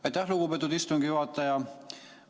Aitäh, lugupeetud istungi juhataja!